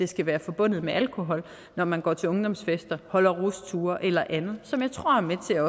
skal være forbundet med alkohol når man går til ungdomsfester holder rusture eller andet og som jeg tror er med til at